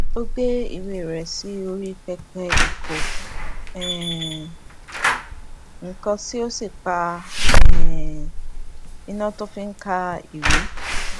ó gbé ìwé rè sí orí pẹpẹ ìkó um nnkan sí ó sì um pa iná tí ó fi ń ka ń ka ìwé